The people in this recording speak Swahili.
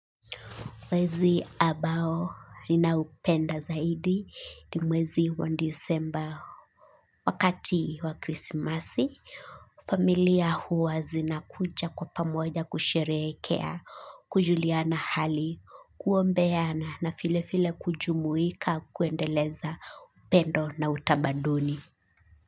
Mwezi ambao ninaupenda zaidi ni mwezi wa Desemba, wakati wa krisimasi familia huwa zinakuja kwa pamoja kusherehekea, kujuliana hali, kuombeana na vile vile kujumuika kuendeleza upendo na utamaduni.